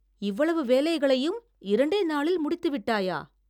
இவ்வளவு வேலைகளையும் இரண்டே நாளில் முடித்து விட்டாயா?